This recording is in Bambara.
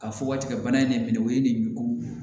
A fɔ ka tigɛ ka bana in ne minɛ o ye nin ko